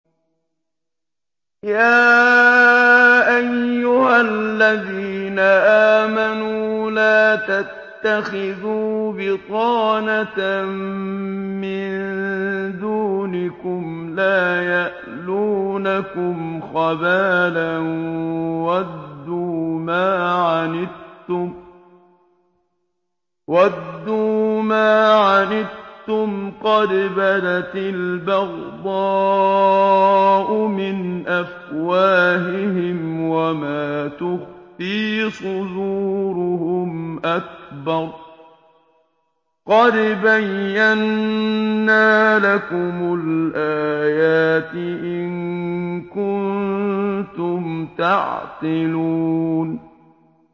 يَا أَيُّهَا الَّذِينَ آمَنُوا لَا تَتَّخِذُوا بِطَانَةً مِّن دُونِكُمْ لَا يَأْلُونَكُمْ خَبَالًا وَدُّوا مَا عَنِتُّمْ قَدْ بَدَتِ الْبَغْضَاءُ مِنْ أَفْوَاهِهِمْ وَمَا تُخْفِي صُدُورُهُمْ أَكْبَرُ ۚ قَدْ بَيَّنَّا لَكُمُ الْآيَاتِ ۖ إِن كُنتُمْ تَعْقِلُونَ